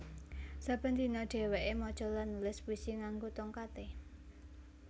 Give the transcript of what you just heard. Saben dina dheweké maca lan nulis puisi nganggo tongkaté